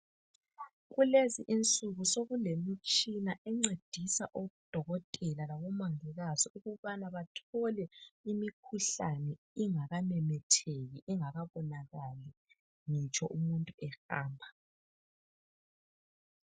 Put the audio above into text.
Kulezinsuku sokulemitshina encedisa odokotela labomongikazi ukubana bathole imikhuhlane ingakamemetheki ingakabulali ngitsho umuntu ehamba.